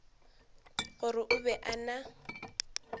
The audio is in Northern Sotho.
gore o be a na